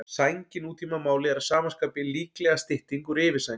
Sæng í nútímamáli er að sama skapi líklega stytting úr yfirsæng.